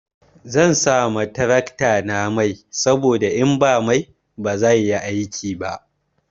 Zan sa ma taraktana mai saboda in ba mai ba zai yi aiki ba.